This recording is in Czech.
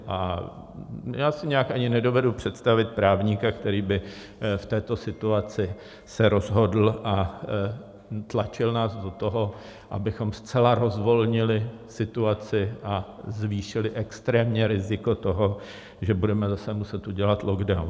A já si nějak ani nedovedu představit právníka, který by v této situaci se rozhodl a tlačil nás do toho, abychom zcela rozvolnili situaci a zvýšili extrémně riziko toho, že budeme zase muset udělat lockdown.